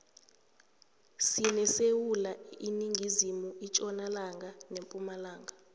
sinesewula iningizimu itjonalanga nepumalanga